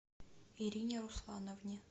ирине руслановне